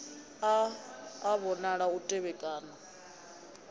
a a vhonala u tevhekana